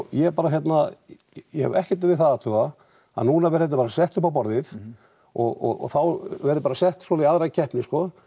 ég er bara hérna ég hef ekkert við það að athuga að núna verði þetta bara sett uppá borðið og þá verði bara sett svona í aðra keppni